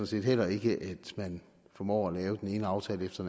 set heller ikke at man formår at lave den ene aftale efter